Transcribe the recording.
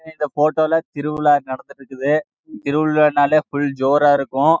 இந்த போட்டோ லே திருவிழா நந்து து இருக்குது திருவழ நாள்லே நாள்லயே ஜோர் லே ஆஹ் இருக்கும்